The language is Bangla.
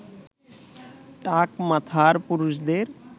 টাক মাথার পুরুষদের